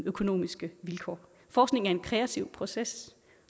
økonomiske vilkår forskning er en kreativ proces